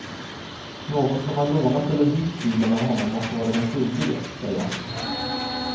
Någon som har lånat eller hyrt bilen av honom måste vara den skyldige, säger han.